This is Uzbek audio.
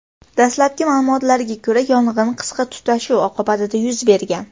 Dastlabki ma’lumotlarga ko‘ra, yong‘in qisqa tutashuv oqibatida yuz bergan.